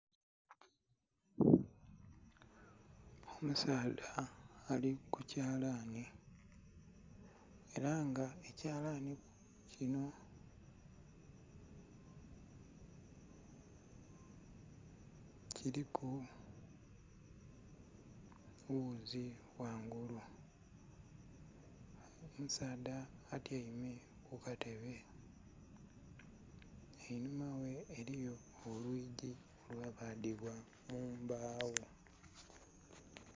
Omusaadha ali ku kyalani ela nga ekyalani kinho kiliku ghuzi ghangulu. Omusaadha atyaime ku katebe. Enhuma ghe eliyo olwigi olwabadhibwa mu mbagho.